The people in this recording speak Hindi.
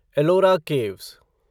एलोरा केव्स